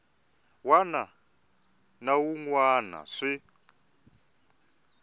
wana na wun wana swi